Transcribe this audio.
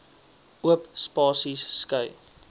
oop spasies skei